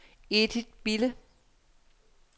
Edith Bille